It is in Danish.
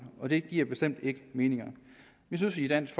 og det giver bestemt ikke mening vi synes i dansk